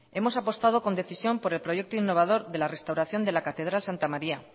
hemos apostado con decisión por el proyecto innovador de la restauración de la catedral santa maría